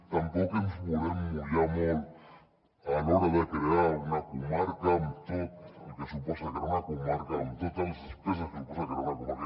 tampoc ens volem mullar molt a l’hora de crear una comarca amb tot el que suposa crear una comarca amb totes les despeses que suposa crear una comarca